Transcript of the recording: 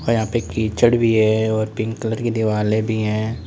यहां पे कीचड़ भी है तथा पिंक कलर की दीवाले भी है।